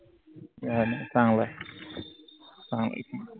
नाई नाई चांगलंय थांब एक minute